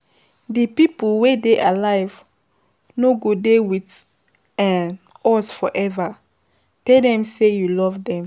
Di pipo wey dey alive, no go dey with um us forever, tell them sey you love dem